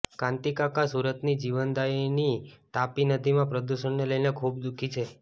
કાંતિ કાકા સુરતની જીવનદાયિની તાપી નદીમાં પદૂષણને લઈને ખુબ દુઃખી છે